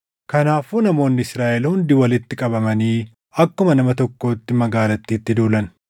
Kanaafuu namoonni Israaʼel hundi walitti qabamanii akkuma nama tokkootti magaalattiitti duulan.